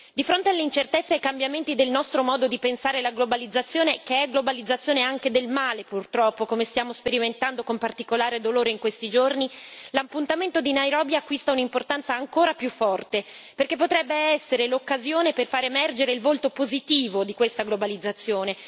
Di fronte alle incertezze e ai cambiamenti del nostro modo di pensare la globalizzazione, che è globalizzazione anche del male purtroppo come stiamo sperimentando con particolare dolore in questi giorni l'appuntamento di Nairobi acquista un'importanza ancora maggiore, perché potrebbe essere l'occasione per fare emergere il volto positivo di questa globalizzazione.